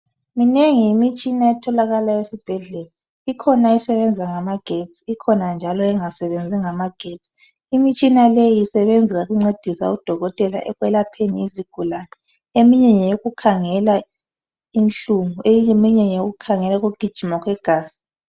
Minengi imitshina etholakala esibhedlela ikhona esebenza ngamagesti ikhona njalo angasebenzi ngamagesti imitshina leyi isebenza ukuncedisa udokotela ekwelapheni izigulane. Eminye ngeyokukhangela inhlungu eminye ngeyekukhangela ukugijima kwegazi.